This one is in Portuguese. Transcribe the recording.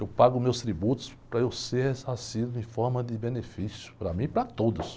Eu pago meus tributos para eu ser ressarcido em forma de benefício para mim e para todos.